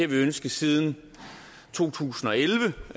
vi ønsket siden to tusind og elleve